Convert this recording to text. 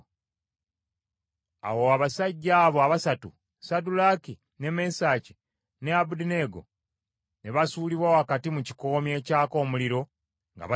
Awo abasajja abo abasatu Saddulaaki, ne Mesaki ne Abeduneego ne basuulibwa wakati mu kikoomi ekyaka omuliro nga basibiddwa.